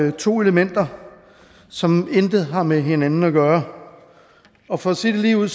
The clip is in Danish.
har to elementer som intet har med hinanden at gøre og for at sige det ligeud